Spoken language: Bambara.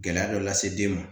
Gɛlɛya dɔ lase den ma